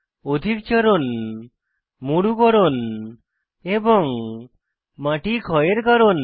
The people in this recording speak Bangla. অধিক চারণ মরুকরণ এবং মাটি ক্ষয়ের কারণ